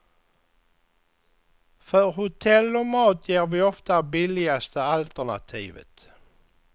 För hotell och mat ger vi ofta billigaste alternativet.